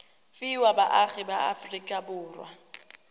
fiwa baagi ba aforika borwa